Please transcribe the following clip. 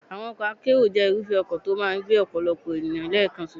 Àwọn ọkọ̀ akérò jẹ́ irúfẹ́ ọkọ̀ tó máa ń gbé ọ̀pọ̀lọpọ̀ ènìyàn lẹ́ẹ̀kan ṣoṣo.